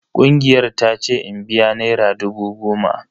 Kungiyar ta ce in biya naira dubu goma.